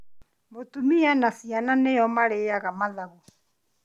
Mũtumia na ciana nĩo marĩaga mathagu